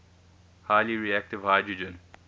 highly reactive hydrogen